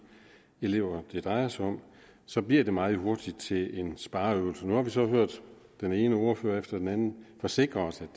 elever det drejer sig om så bliver det meget hurtigt til en spareøvelse nu har vi så hørt den ene ordfører efter den anden forsikre os om